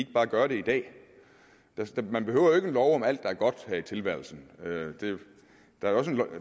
bare gøre det i dag man behøver jo ikke en lov om alt der er godt her i tilværelsen